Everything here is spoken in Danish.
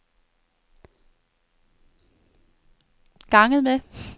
ganget med